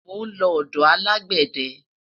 mo nlo odò alágbède